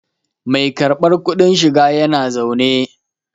Mai karbar kudin shiga yana zaune